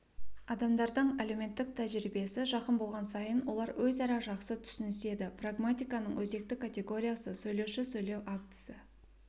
адамдардың әлеуметтік тәжірибесі жақын болған сайын олар өзара жақсы түсініседі прагматиканың өзекті категориясы сөйлеуші сөйлеу актісі